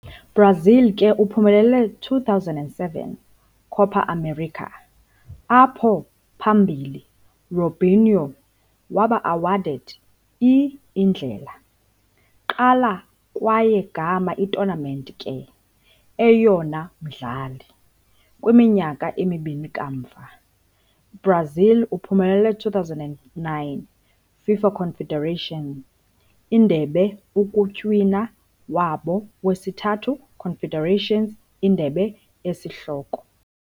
- Brazil ke uphumelele 2007 Copa América, apho phambili Robinho waba awarded i-Indlela- Qala kwaye gama i-tournament ke, eyona umdlali. Kwiminyaka emibini kamva, Brazil uphumelele 2009 FIFA Confederations Indebe ukutywina wabo wesithathu Confederations Indebe isihloko.